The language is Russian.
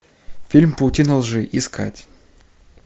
фильм паутина лжи искать